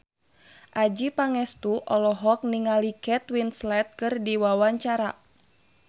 Adjie Pangestu olohok ningali Kate Winslet keur diwawancara